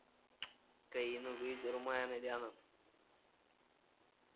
काय ही नको विचारू माज्या नाय ध्यानात